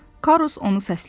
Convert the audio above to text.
Karrus onu səslədi.